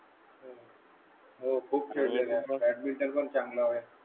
हो खूप खेळलेले आहे बॅट मिंटेन पण चांगला होय